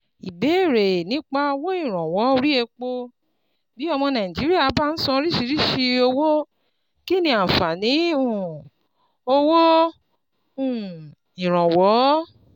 Ìbérè nípa owó ìrànwọ́ orí epo: Bí ọmọ Nàìjíríà bá ń ṣan oríṣiríṣi owó, kí ni ààfàní um owó um ìrànwọ́?